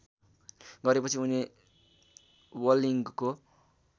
गरेपछि उनी व्लगिङको